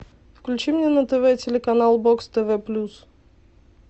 включи мне на тв телеканал бокс тв плюс